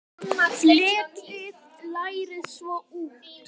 Fletjið lærið svo út.